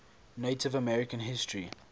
native american history